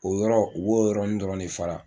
O yɔrɔ u b'o yɔrɔni dɔrɔn de fara